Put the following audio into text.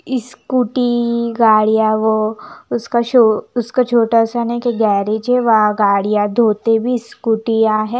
Scooty टी गाड़ियाँ वो उसका शो उसका छोटा सा एक गरेगे हैं वहाँ गाड़ियाँ धोते भी स्कोटिया हैं।